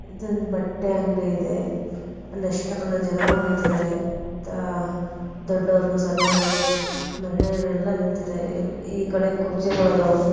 ಇದು ಬಂದು ಬಟ್ಟೆ ಅಂಗಡಿ ಅಲ್ಲಿ ಎಷ್ಟು ಜನ ಬಂದ್ ನಿಂತಿದ್ದಾರೆ ದೊಡ್ಡವರು ಚಿಕ್ಕವರು ಮಹಿಳೆಯರು ಎಲ್ಲಾ ಈ ಕಡೆ ನಿಂತಿದೆ ಈ ಕಡೆ ಕುರ್ಚಿಗಳು ಇದವು ನಿಂತವ್ರೆಮಹಿಳೆಯರು ಎಲ್ಲಾ ನಿಂತವ್ರೆ.